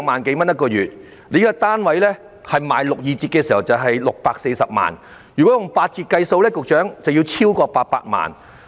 這個單位的六二折價格是640萬元，但如以八折計算，樓價便會超過800萬元。